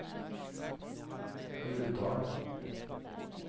Uvdal